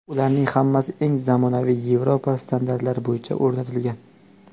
Ularning hammasi eng zamonaviy yevropa standartlari bo‘yicha o‘rgatilgan.